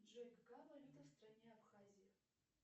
джой какая валюта в стране абхазия